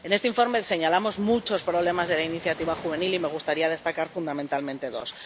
En este informe señalamos muchos problemas de la Iniciativa de Empleo Juvenil, y me gustaría destacar fundamentalmente dos.